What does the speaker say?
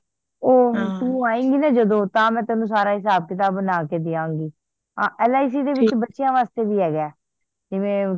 ਉਹ ਤੂੰ ਆਏਗੀ ਨਾ ਜਦੋ ਤਾਂ ਮੈਂ ਤੈਨੂੰ ਸਾਰਾ ਹਿਸਾਬ ਕਿਤਾਬ ਬਣਾ ਕੇ ਦੇਵਾਂਗੀ l .i .c ਚ ਬੱਚਿਆਂ ਵਾਸਤੇ ਵੀ ਹੈਗਾ ਜਿਵੇਂ